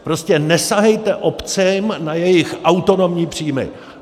Prostě nesahejte obcím na jejich autonomní příjmy!